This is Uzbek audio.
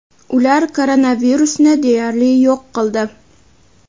ular koronavirusni deyarli yo‘q qildi.